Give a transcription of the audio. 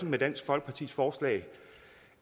med dansk folkepartis forslag